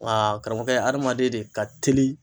Nga karamɔgɔkɛ adamaden de ka teli